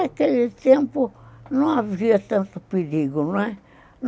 Naquele tempo, não havia tanto perigo, não é?